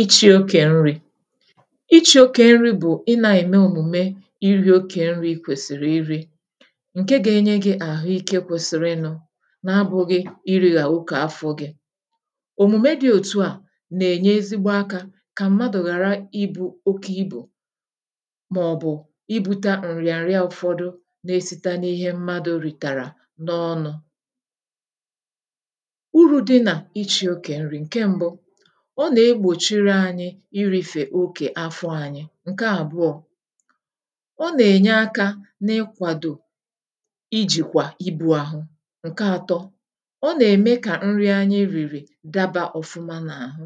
ịchị̇ oke nri̇ ịchị̇ oke nri̇ bụ̀ ị na-ème òmùme iri̇ oke nri̇ kwèsìrì iri̇ nke ga-enye gi̇ àhụike kwèsìrì nụ̇ na abụ̇ghị̇ iri̇ hà okė afọ̇ gi̇ òmùme dị̇ òtu à nà-ènye ezigbo akȧ kà mmadụ̀ ghàra ibu̇ oke ibù màọ̀bụ̀ ibu̇ta ǹrì àrị afọ̇dụ̇ na-esite n’ihe mmadụ̇ rìtàrà n’ọnụ̇ irìfè okè afọ ȧnyị̇ ǹke àbụọ̇ ọ nà-ènye akȧ n’ịkwàdò ijìkwà ibu̇ àhụ ǹke ȧtọ̇ ọ nà-ème kà nri anyị rìrì daba ọ̀fụma n’àhụ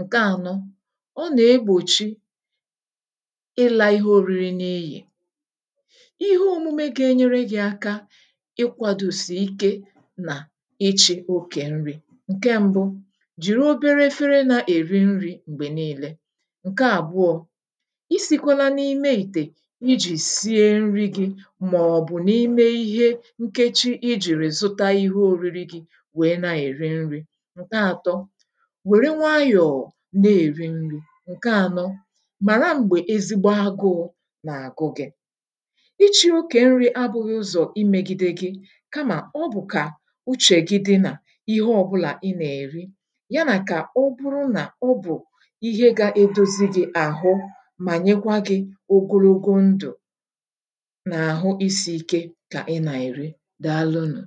ǹke ȧnọ̇ ọ nà-egbòchi ịlà ihe òriri n’ịyì ihe omume ga-enyere gị aka ịkwàdò sì ike nà ichị̇ okè nri ǹke mbu ǹke àbụọ̇ isìkọla n’ime ìtè iji̇ sie nri gi màọ̀bụ̀ n’ime ihe nkechi ijì rèzụta ihe òriri gi̇ wèe na-èri nri̇ ǹke ȧtọ wère nwayọ̀ na-èri nri̇ ǹke ȧnọ màra m̀gbè ezigbo agụụ nààgụ gị̇ ichi̇ okè nri abụ̇ghị ụzọ̀ imėgide gi̇ kamà ọ bụ̀kà uchè gi di nà ihe ọbụlà ị nà-èri àhụ mà nyekwa gị̇ ogologo ndụ̀ nà àhụ isi̇ ike kà ị nà-èri daa lụnụ̀